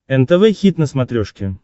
нтв хит на смотрешке